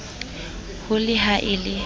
ho le ha e le